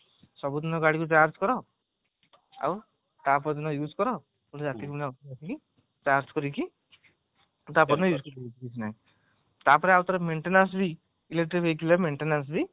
ସବୁଦିନ ଗାଡିକୁ charge କର ଆଉ ତାପରଦିନ use କର ପୁଣି ରଟିକି ଆଉ ଠାରେ ଆସିକି charge କରିକି ତାପରଦିନ ତାପରେ ଆଉ ଠାରେ maintenance ବି electric vehicleରେ maintenance ବି